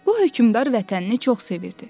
Bu hökmdar vətənini çox sevirdi.